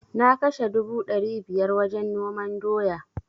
Na kashe dubu dari biyar wajen noman doya